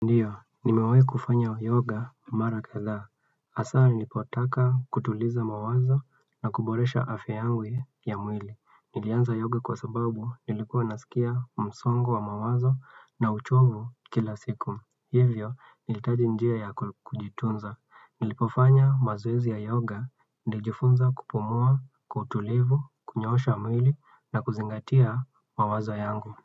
Ndio, nimewahi kufanya yoga mara kadhaa Hasaa nilipotaka kutuliza mawazo na kuboresha afya yangu ya mwili. Nilianza yoga kwa sababu nilikuwa nasikia msongo wa mawazo na uchovu kila siku. Hivyo, nilitaji njia ya kujitunza. Nilipofanya mazoezi ya yoga, nilijifunza kupumua, kutulivu, kunyoosha mwili na kuzingatia mawazo yangu.